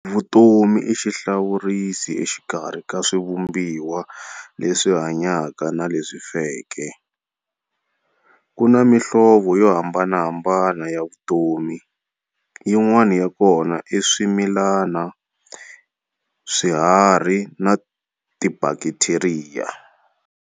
Vutomi ixihlawurisi exikarhi ka swivumbiwa leswi hanyaka na leswi feke. Kuna mihlovo yo hambanahambana ya vutomi, yin'wana yakona i swimilana, swiharhi na tibhaktheriya.